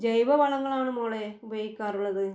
ജൈവവളങ്ങളാണ് മോളേ ഉപയോഗിക്കാറുള്ളത്.